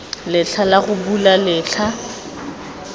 letlha la go bula letlha